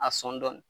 A sɔn dɔɔnin